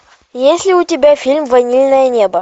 есть ли у тебя фильм ванильное небо